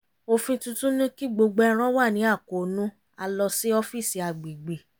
òfin tuntun ní kí gbogbo ẹran wà ní àkóónú a lọ sí ọ́fíìsì agbègbè